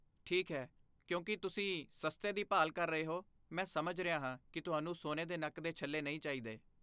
ਠੀਕ ਹੈ, ਕਿਉਂਕਿ ਤੁਸੀਂ ਸਸਤੇ ਦੀ ਭਾਲ ਕਰ ਰਹੇ ਹੋ, ਮੈਂ ਸਮਝ ਰਿਹਾ ਹਾਂ ਕਿ ਤੁਹਾਨੂੰ ਸੋਨੇ ਦੇ ਨੱਕ ਦੇ ਛੱਲੇ ਨਹੀਂ ਚਾਹੀਦੇ।